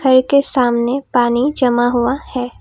घर के सामने पानी जमा हुआ है।